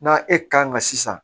N'a e kan ka sisan